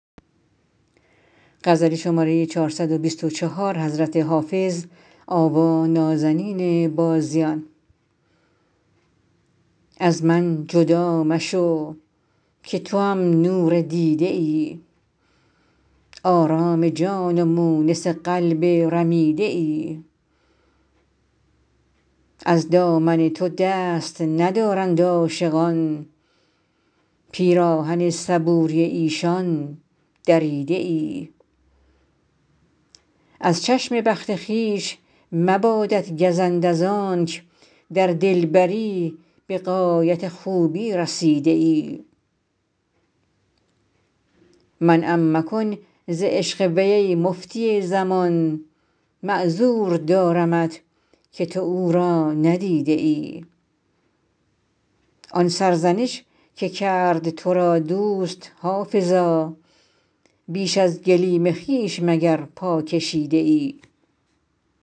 از من جدا مشو که توام نور دیده ای آرام جان و مونس قلب رمیده ای از دامن تو دست ندارند عاشقان پیراهن صبوری ایشان دریده ای از چشم بخت خویش مبادت گزند از آنک در دلبری به غایت خوبی رسیده ای منعم مکن ز عشق وی ای مفتی زمان معذور دارمت که تو او را ندیده ای آن سرزنش که کرد تو را دوست حافظا بیش از گلیم خویش مگر پا کشیده ای